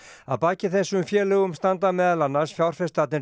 að baki þessum félögum standa meðal annarra fjárfestarnir